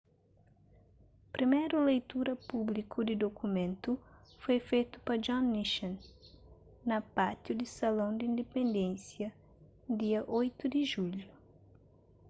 priméru leitura públiku di dukumentu foi fetu pa john nixon na pátiu di salão di indipendênsia dia 8 di julhu